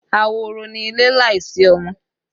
Ahoro ni ilé láìsí ọmọ